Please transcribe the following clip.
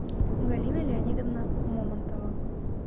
галина леонидовна момонтова